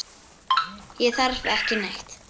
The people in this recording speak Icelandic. Ég þarf ekki neitt.